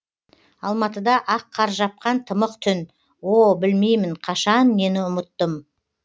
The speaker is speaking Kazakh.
алматыда ақ қар жапқан тымық түн о білмеймін қашан нені ұмыттым